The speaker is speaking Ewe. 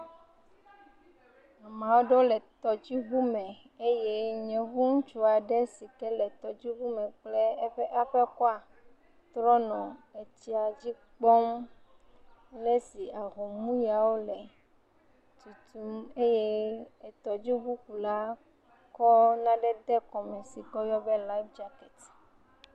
Ame aɖewo le tɔdziŋu me eye yevu ŋutsu aɖe si ke le tɔdziŋu me kple eƒe aƒekɔa wonɔ etsia dzi kpɔm le esi ahomuyawo tutum eye etɔdziŋukula kɔ nane de kɔme si ke woyɔ be life jacket.